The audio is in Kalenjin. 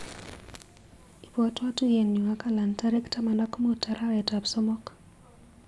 Ibwatwa tuiyenyu ak Allan tarik taman ak mut, arawetap somok.